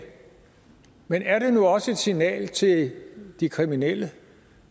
men er det nu også et signal til de kriminelle